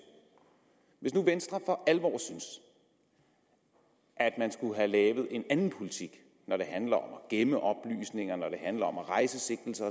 hvis nu venstre for alvor synes at man skulle have lavet en anden politik når det handler om at gemme oplysninger når det handler om at rejse sigtelser